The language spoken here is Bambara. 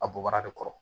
A bɔbaga de kɔrɔ